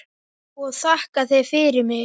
Og þakka þér fyrir mig.